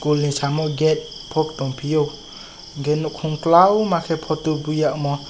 school ni samo gate phok tong fio gate no khum talao tai photo buia omo.